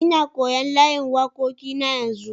Nna koyon layin wakoki na yanzu.